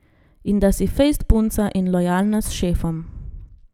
In da si fejst punca in lojalna s šefom.